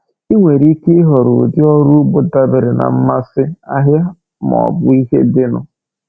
Ị nwere ike họrọ ụdị ọrụ ugbo dabere na mmasị, ahịa, ma ọ bụ ihe dịnụ.